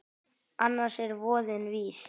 Annars er voðinn vís.